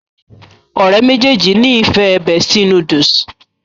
ọ̀rẹ́ méjèèjì ní ìfẹ bestie noodle